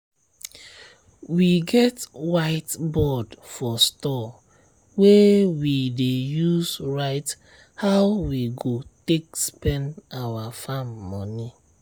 we get whiteboard for store wey we dey use write how we go take spend our farm money.